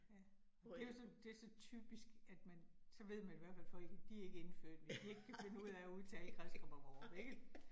Ja. Og det jo så, det så typisk, at man, så ved man i hvert fald folk, de ikke indfødte, hvis de ikke kan finde ud af at udtale Kristrup og Vorup ikke